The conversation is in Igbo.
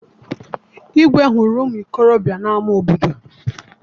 Igwe hụrụ ụmụ okorobịa n'ama obodo.